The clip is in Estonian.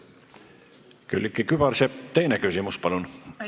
Külliki Kübarsepp, teine küsimus, palun!